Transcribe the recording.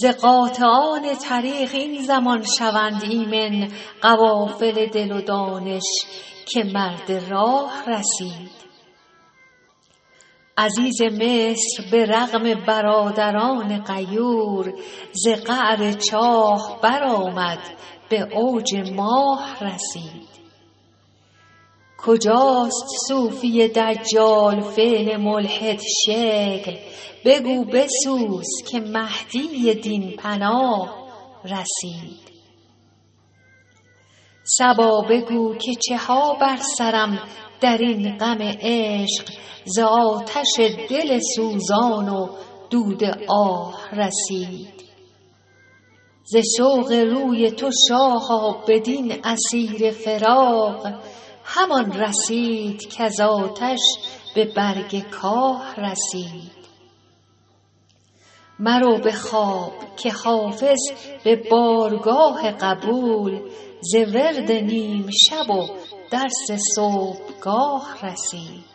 ز قاطعان طریق این زمان شوند ایمن قوافل دل و دانش که مرد راه رسید عزیز مصر به رغم برادران غیور ز قعر چاه برآمد به اوج ماه رسید کجاست صوفی دجال فعل ملحدشکل بگو بسوز که مهدی دین پناه رسید صبا بگو که چه ها بر سرم در این غم عشق ز آتش دل سوزان و دود آه رسید ز شوق روی تو شاها بدین اسیر فراق همان رسید کز آتش به برگ کاه رسید مرو به خواب که حافظ به بارگاه قبول ز ورد نیم شب و درس صبحگاه رسید